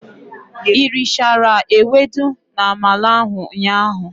I richara ewedu na-amala ahụ ụnyaahụ?